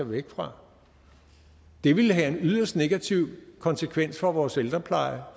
væk fra det ville have en yderst negativ konsekvens for vores ældrepleje